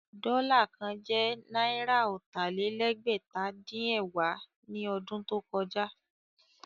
Dọ́là kan jẹ́ náírà ọ̀tà-lé-lẹ́gbẹ̀ta-dín-ẹ̀wá ní ọdún tó kọjá.